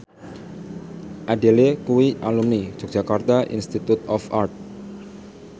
Adele kuwi alumni Yogyakarta Institute of Art